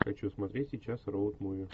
хочу смотреть сейчас роуд муви